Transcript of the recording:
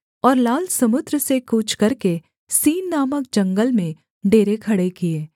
और लाल समुद्र से कूच करके सीन नामक जंगल में डेरे खड़े किए